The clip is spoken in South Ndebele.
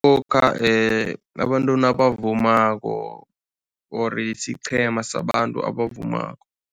Lokha abantu nabavumako or siqhema sabantu abavumako.